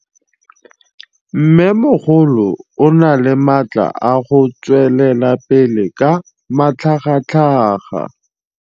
Mmêmogolo o na le matla a go tswelela pele ka matlhagatlhaga.